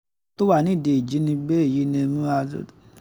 tó wà nídìí ìjínigbé èyí ni nura